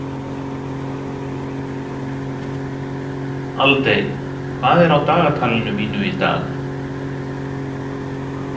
Aldey, hvað er á dagatalinu mínu í dag?